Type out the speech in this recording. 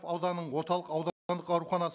ауданның орталық ауруханасы